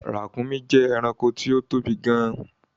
Ràkúnmí jẹ́ ẹranko tí ó tóbi gan-an